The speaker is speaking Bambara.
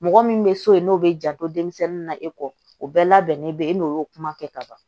Mɔgɔ min bɛ so yen n'o bɛ janto denmisɛnnin na e kɔ o bɛɛ labɛnnen bɛ e n'o y'o kuma kɛ ka ban